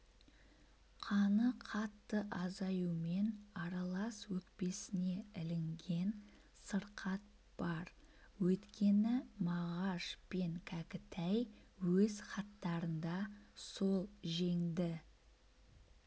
қаны қатты азаюымен аралас өкпесіне ілінген сырқат бар өйткені мағаш пен кәкітай өз хаттарында сол женді